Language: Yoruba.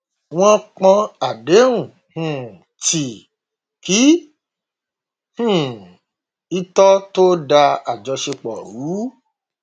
wọn pọn àdéhùn um tí kì um í tọ tó n dá àjọṣepọ rú